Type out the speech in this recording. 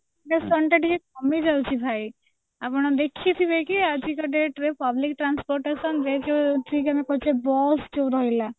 ଟିକେ କମିଯାଉଛି ଭାଇ ଆପଣ ଦେଖିଥ୍ଗିବେକି ଆଜିକା date ରେ public transportation ରେ ଯୋଉ ଠିକ ଆମେ କହୁଛେ ବସ ଯୋଉ ରହିଲା